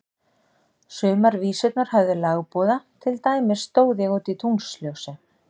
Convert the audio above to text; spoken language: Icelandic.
Sumar vísurnar höfðu lagboða, til dæmis Stóð ég úti í tunglsljósi.